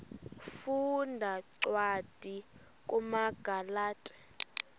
funda cwadi kumagalati